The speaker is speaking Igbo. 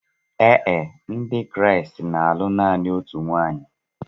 Ee e, Ndị Kraịst na-alụ naanị otu nwunye.